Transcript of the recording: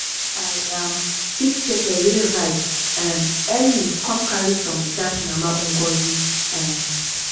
i um pick peper wey ripe um early come carry some dash mama ngozi um